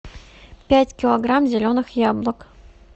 пять килограмм зеленых яблок